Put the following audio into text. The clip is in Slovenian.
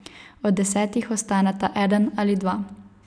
Od desetih ostaneta eden ali dva.